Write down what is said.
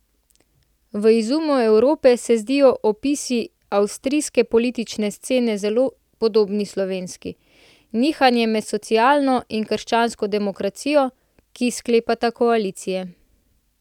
V Izumu Evrope se zdijo opisi avstrijske politične scene zelo podobni slovenski, nihanje med socialno in krščansko demokracijo, ki sklepata koalicije.